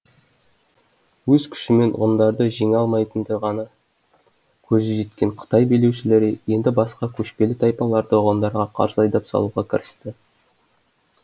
өз күшімен ғұндарды жеңе алмайтындығына көзі жеткен қытай билеушілері енді басқа көшпелі тайпаларды ғұндарға қарсы айдап салуға кірісті